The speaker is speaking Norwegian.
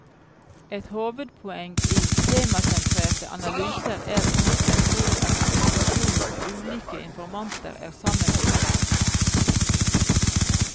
Et hovedpoeng i temasentrerte analyser er imidlertid at informasjon fra ulike informanter er sammenlignbar.